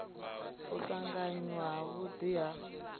u tanganywa ha vhudi ha